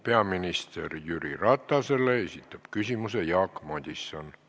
Peaminister Jüri Ratasele esitab küsimuse Jaak Madison.